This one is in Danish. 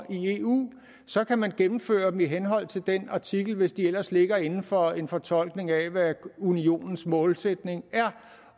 i eu så kan man gennemføre dem i henhold til den artikel hvis de ellers ligger inden for en fortolkning af hvad unionens målsætning er